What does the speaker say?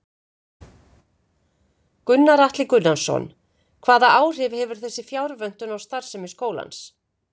Gunnar Atli Gunnarsson: Hvaða áhrif hefur þessi fjárvöntun á starfsemi skólans?